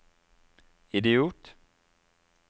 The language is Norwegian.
idiot